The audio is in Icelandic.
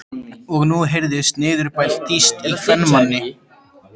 Og nú heyrðist niðurbælt tíst í kvenmanni!